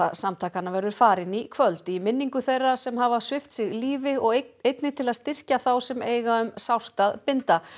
samtakanna verður farin í kvöld í minningu þeirra sem hafa svipt sig lífi og einnig til að styrkja þá sem eiga um sárt að binda